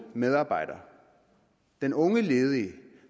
medarbejder den unge ledige